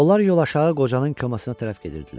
Onlar yol aşağı qocanın komasına tərəf gedirdilər.